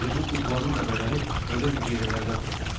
Elə bu kuklanın da bədəni xırda hüceyrələrdən toxunub.